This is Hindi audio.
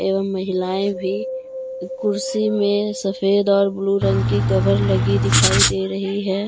महिलाए भी कुर्सी में सफेद और ब्लू रंग की कवर लगी दिखाई दे रही है।